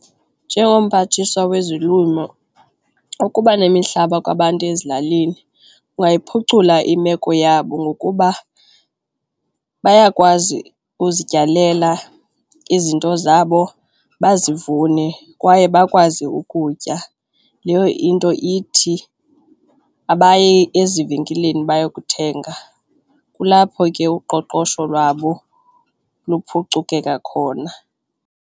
Njengomphathiswa wezolimo ukuba nemihlaba kwabantu ezilalini kungayiphucula imeko yabo ngokuba bayakwazi uzityalela izinto zabo, bazivune kwaye bakwazi ukutya. Leyo into ithi abayi ezivenkileni bayokuthenga, kulapho ke uqoqosho lwabo luphucukeka khona.